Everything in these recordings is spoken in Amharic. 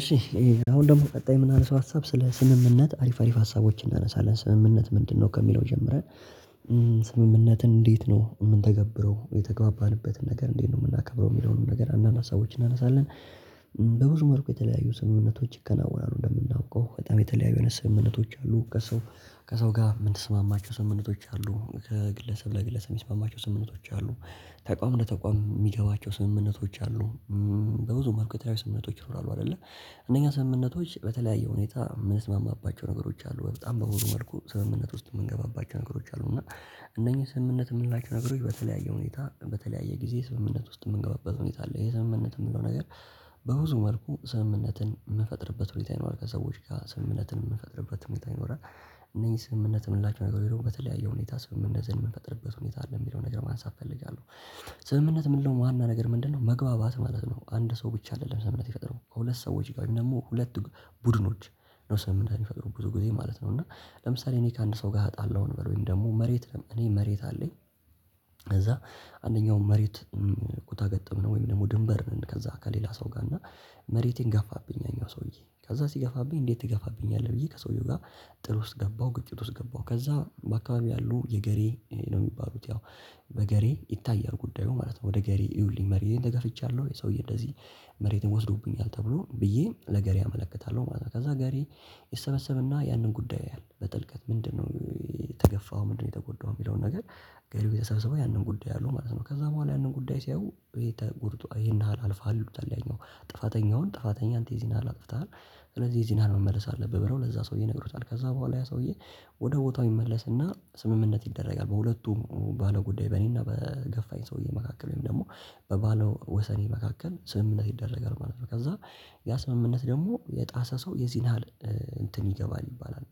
እሺ አሁን ደግሞ ቀጣይ ምናነሳው ሀሳብ ስለ ስምምነት አሪፍ አሪፍ ሀሳቦችን እናነሳለን ስምምነት ምንድነው ከሚለው ጀምረን? ስምምነትን እንዴት ነው የምንተገብረው የተግባባንበትን ነገር እንዴት ነው የምናከብረው የሚለውን ነገር አንዳንድ ሀሳቦች እናነሳለን። በብዙ መልኩ የተለያዩ ስምምነቶች ይከናወናሉ እንደምናውቀው በጣም የተለያዩ ስምምነቶች አሉ ከሰው ከሰው ጋር የምንሰማማቸው ስምምነቶች አሉ ከግለሰብ ለግለሰብ የሚስማማቸው ስምምነቶች አሉ። ተቋም ለተቋም የሚገቧቸው ስምምነቶች አሉ። በብዙ መልኩ የተለያዩ ስምምነቶች ይኖራሉ። አይደለ እነኛ ስምምነቶች በተለያየ ሁኔታ የምንስማማባቸው ነገሮች አሉ በጣም በብዙ መልኩ ስምምነት ውስጥ የምንገባባቸው ነገሮች አሉ። እና እነኚህ ስምምነት የምንላቸው ነገሮች በተለያየ ሁኔታ በተለያየ ጊዜ ስምምነት ውስጥ የምንገባበት ሁኔታ አለ። የስምምነት የምንለው ነገር በብዙ መልኩ ስምምነትን የምፈጥርበት ሁኔታ ይኖራል። ከሰዎች ጋር ስምምነትን የምፈጥርበት ሁኔታ ይኖራል። እነዚህ ስምምነት የምንላቸው ነገሮች በተለያየ ሁኔታ ስምምነት የምንፈጥርበት ሁኔታ አለ የሚለው ነገር ማንሳት እፈልጋለሁ። ስምምነት ምንለው ዋና ነገር ምንድነው መግባባት ማለት ነው። አንድ ሰው ብቻ አይደለም ስምምነት ይፈጥረው ከሁለት ሰዎች ጋር ደግሞ ሁለት ቡድኖች ነው ስምምነት የሚፈጥሩት ብዙ ጊዜ ማለት ነው። እና ለምሳሌ እኔ ከአንድ ሰው ጋር ተጣለሁ እንበል ወይም ደግሞ መሬት እኔ መሬት አለኝ። ከዛ አንደኛው መሬት ኩታ ገጠም ነው ወይም ደግሞ ድንበር ነን ከዛ ከሌላ ሰው ጋር እና መሬቴን ገፋብኝ ያኛው ሰውዬ ከዛ ሲገፋብኝ እንዴት ትገፋብኛለህ ብዬ ከሰውየው ጋር ጥል ውስጥ ገባሁ። ግጭት ውስጥ ገባሁ ከዛ በአካባቢ ያሉ የገሬ ነው የሚባሉት ያው በገሬ ይታያል ጉዳዩ ማለት ነው። ወደ ገሬ እዩልኝ መሬትን ተገፍቻለሁ ወይ ሰውዬ እንደዚህ መሬትን ወስዶብኛል ተብሎ ብዬ ለገሬ አመለከታለሁ ማለት ነው። ከዛ ገሬ ይሰበሰብና ያንን ጉዳይ ያያል በጥልቀት ምንድነው የተገፋው ምንድነው የተጎዳው የሚለውን ነገር ገሬ የተሰበሰበው ያንን ጉዳይ ያያሉ ማለት ነው። ከዛ በኋላ ያንን ጉዳይ ሲያዩ የተጎድቶ ካየ አልፈሀል ይሉታል። ያኛው ጥፋተኛውን ጥፋተኛ አንተ የዚህን ያህል አጥፍተሃል ስለዚህ የዚህን ያህል መመለስ አለብህ። ብለው ለዛ ሰውዬ ይነግሩታል ከዛ በኋላ ያ ሰውዬ ወደ ቦታው ይመለስና ስምምነት ይደረጋል። በሁለቱም ባለው ጉዳይ በእኔና በገፋኝ ሰውዬ መካከል ወይም ደግሞ በባለ ወሰኔ መካከል ስምምነት ይደረጋል ማለት ነው። ከዛ ያ ስምምነት ደግሞ የጣሰ ሰው የዚህን ያህል እንትን ይገባል ይባላል።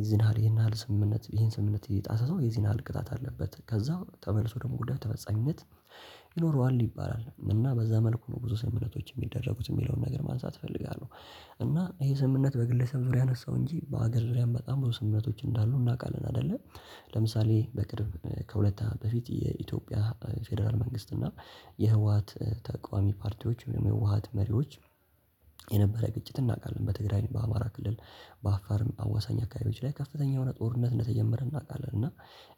የዚህን ያህል ይሄን ያህል ስምምነት ይሄን ስምምነት እየጣሰ ሰው ይዘን ያህል ቅጣት አለበት ከዛ ተመልሶ ደግሞ ጉዳይ ተፈጻሚነት ይኖረዋል ይባላል። እና በዛ መልኩ ነው ብዙ ስምምነቶች የሚደረጉት የሚለውን ነገር ማንሳት እፈልጋለሁ። እና ይሄ ስምምነት በግለሰብ ዙሪያ አነሳው እንጂ በሀገር ዙሪያም በጣም ብዙ ስምምነቶች እንዳሉ እናውቃለን አይደለ። ለምሳሌ በቅርብ ከሁለት በፊት የኢትዮጵያ ፌደራል መንግስት እና የህወሃት ተቃዋሚ ፓርቲዎች የህወሃት መሪዎች የነበረ ግጭት እናውቃለን በትግራይ በአማራ ክልል በአፋርም አዋሳኝ አካባቢዎች ላይ ከፍተኛ የሆነ ጦርነት እንደተጀመረ እናውቃለን። እና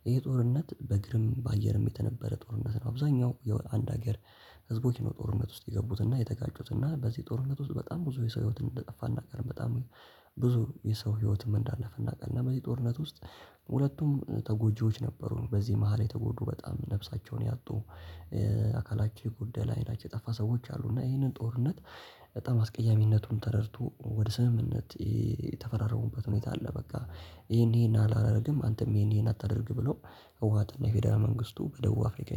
ይህ ጦርነት በግርም በአየርም የተነበረ ጦርነት ነው። አብዛኛው የአንድ ሀገር ህዝቦች ነው ጦርነት ውስጥ የገቡትና የተጋጩትና በዚህ ጦርነት ውስጥ በጣም ብዙ የሰው ህይወትን እንደጠፋ እናውቃለን። በጣም ብዙ የሰው ህይወትም እንዳለፈ እናውቃለን። በዚህ ጦርነት ውስጥ ሁለቱም ተጎጂዎች ነበሩን በዚህ መሃል የተጎዱ በጣም ነፍሳቸውን ያጡ አካላቸው የጎደለ አይናቸው የጠፋ ሰዎች አሉ። እና ይሄንን ጦርነት በጣም አስቀያሚነቱን ተረድቶ ወደ ስምምነት የተፈራረሙበት ሁኔታ አለ። በቃ ይሄን ይሄን አላደርግም አንተም ይሄን ይሄን አታደርግ ብሎ ህወሓትና የፌደራል መንግስቱ በደቡብ አፍሪካ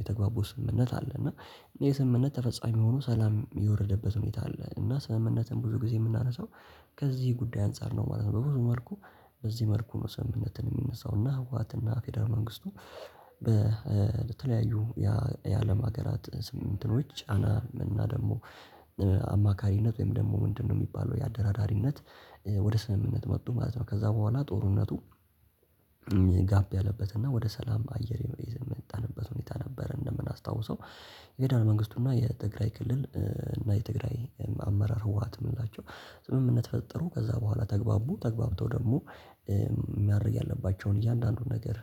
የተግባቡ ስምምነት አለ። እና ይህ ስምምነት ተፈጻሚ ሆኖ ሰላም የወረደበት ሁኔታ አለ። እና ስምምነትን ብዙ ጊዜ የምናነሳው ከዚህ ጉዳይ አንፃር ነው ማለት ነው። በብዙ መልኩ በዚህ መልኩ ነው ስምምነትን የሚነሳው። እና ህወሃት እና ፌደራል መንግስቱ በተለያዩ የአለም ሀገራት ስም እንትኖች ጫና እና ደግሞ አማካሪነት ወይም ደግሞ ምንድነው የሚባለው የአደራዳሪነት ወደ ስምምነት መጥቶ ማለት ነው። ከዛ በኋላ ጦርነቱ ጋብ ያለበት እና ወደ ሰላም አየር የመጣንበት ሁኔታ ነበር። እንደምናስታውሰው ፌደራል መንግስቱና የትግራይ ክልል እና የትግራይ አመራር ህወሓት የምላቸው ዝምምነት ፈጠሩ ከዛ በኋላ ተግባቡ ተግባብተው ደግሞ ማድረግ ያለባቸውን እያንዳንዱን ነገር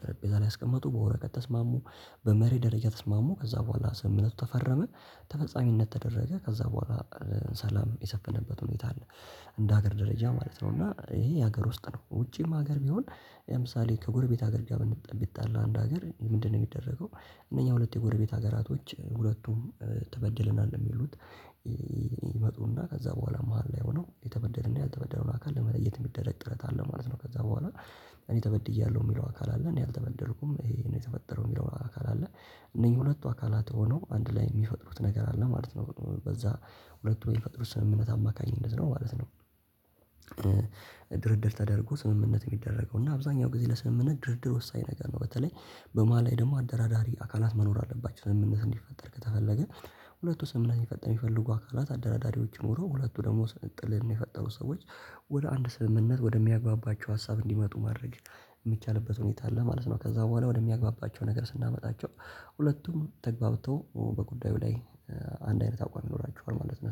ጠረጴዛ ላይ አስቀመጡ በወረቀት ተስማሙ። በመርህ ደረጃ ተስማሙ ከዛ በኋላ ስምምነቱ ተፈረመ። ተፈጻሚነት ተደረገ ከዛ በኋላ ሰላም የሰፈነበት ሁኔታ አለ። እንደ ሀገር ደረጃ ማለት ነው። እና ይሄ የሀገር ውስጥ ነው ውጪም ሀገር ቢሆን ለምሳሌ ከጎርቤት ሀገር ጋር ብንጣ ቢጣላ አንድ ሀገር ምንድነው የሚደረገው? እነኛ ሁለት የጎረቤት ሀገራቶች ሁለቱም ተበድለናል ነው ሚሉት ይመጡና ከዛ በኋላ መሃል ላይ ሆነው የተበደለና ያልተበደለውን አካል ለመለየት የሚደረግ ጥረት አለ ማለት ነው። ከዛ በኋላ እኔ ተበድያለሁ የሚለው አካል አለ። እኔ አልተበደልኩም ይሄ ነው የተፈጠረው የሚለው አካል አለ። እነኚህ ሁለቱ አካላት ሆኖ አንድ ላይ የሚፈጥሩት ነገር አለ ማለት ነው። በዛ ሁለቱ ሚፈጥሩት ስምምነት አማካኝነት ነው ማለት ነው። ድርድር ተደርጎ ስምምነት የሚደረገው እና አብዛኛው ጊዜ ለስምምነት ድርድር ወሳኝ ነገር ነው። በተለይ በመሃል ላይ ደግሞ አደራዳሪ አካላት መኖር አለባቸው ስምምነት እንዲፈጠር ከተፈለገ። ሁለቱ ስምምነት የሚፈጥር የሚፈልጉ አካላት አደራዳሪዎች ኖረው ሁለቱ ደግሞ ስን ጥልም የፈጠሩ ሰዎች ወደ አንድ ስምምነት ወደሚያግባባቸው ሀሳብ እንዲመጡ ማድረግ የሚቻልበት ሁኔታ ለማለት ነው። ከዛ በኋላ ወደሚያግባባቸው ነገር ስናመጣቸው ሁለቱም ተግባብተው በጉዳዩ ላይ አንድ አይነት አቋም ይኖራችኋል ማለት ነው